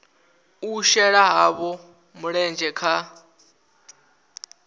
u shela havho mulenzhe kha